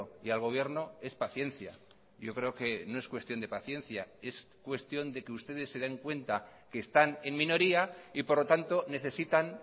y al gobierno es paciencia yo creo que no es cuestión de paciencia es cuestión de que ustedes se den cuenta que están en minoría y por lo tanto necesitan